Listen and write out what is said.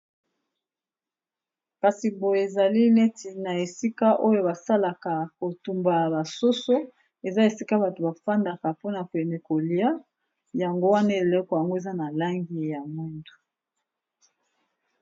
Kasi boye ezali neti na esika oyo basalaka kotumbana basoso eza esika bato bafandaka mpona pene kolia yango wana eeleko yango eza na langi ya mwindo.